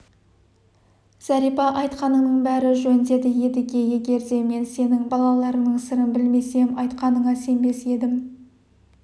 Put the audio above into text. зәрипа айтқаныңның бәрі жөн деді едіге егер де мен сенің балаларыңның сырын білмесем айтқаныңа сенбес едім